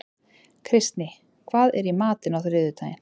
Kristný, hvað er í matinn á þriðjudaginn?